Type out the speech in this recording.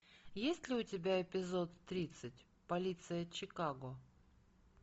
есть ли у тебя эпизод тридцать полиция чикаго